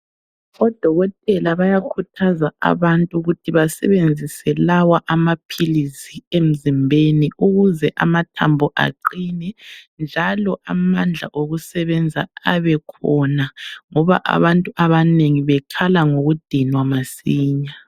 Odokotela bayakhuthaza abantu ukuthi basebenzise lawa amaphilisi emzimbeni ukuze amathambo aqine njalo amandla okusebenza abekhona ngoba abantu bekhala ngokudinwa masinya.